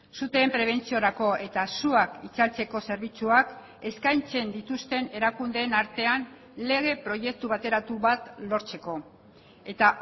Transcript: suteen prebentziorako eta suak itzaltzeko zerbitzuak eskaintzen dituzten erakundeen artean lege proiektu bateratu bat lortzeko eta